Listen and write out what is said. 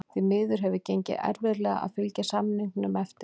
Því miður hefur gengið erfiðlega að fylgja samningum eftir.